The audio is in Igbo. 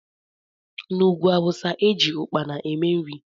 N'ugwú awụsa eji ukpana eme nri.